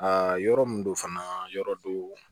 Aa yɔrɔ min don fana yɔrɔ do